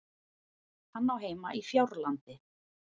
Hann á heima á Fjárlandi.